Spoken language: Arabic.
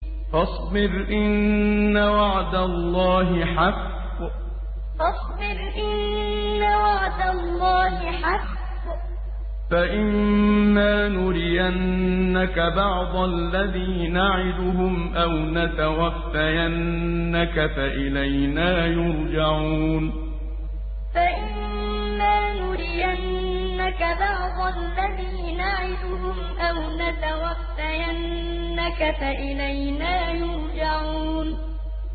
فَاصْبِرْ إِنَّ وَعْدَ اللَّهِ حَقٌّ ۚ فَإِمَّا نُرِيَنَّكَ بَعْضَ الَّذِي نَعِدُهُمْ أَوْ نَتَوَفَّيَنَّكَ فَإِلَيْنَا يُرْجَعُونَ فَاصْبِرْ إِنَّ وَعْدَ اللَّهِ حَقٌّ ۚ فَإِمَّا نُرِيَنَّكَ بَعْضَ الَّذِي نَعِدُهُمْ أَوْ نَتَوَفَّيَنَّكَ فَإِلَيْنَا يُرْجَعُونَ